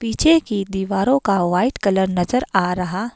पीछे की दीवारों का वाइट कलर नजर आ रहा--